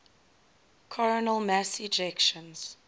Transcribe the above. coronal mass ejections